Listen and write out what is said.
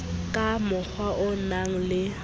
ka mokgwa o nang le